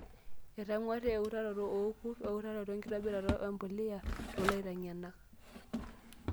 Eitung'wari eutaroto oorkurt. Eutaroto enkitoburata empuliya toolaiteng'enak.